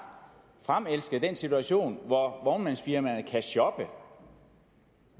fremelsket den situation hvor vognmandsfirmaerne kan shoppe